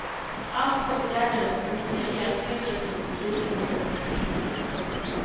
Allt åtgärdades, men nya elfel dök upp och bilen började läcka olja.